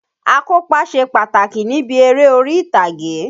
Akópa ṣe pàtàkì níbi eré orí-ìtàgé